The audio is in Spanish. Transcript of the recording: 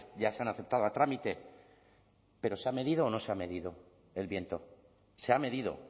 ya se han aceptado a trámite pero se ha medido o no se ha medido el viento se ha medido